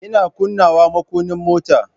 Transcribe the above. Ina kunnawa makunnin mota.